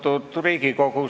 Austatud Riigikogu!